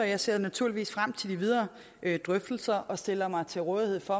jeg ser naturligvis frem til de videre drøftelser og stiller mig til rådighed for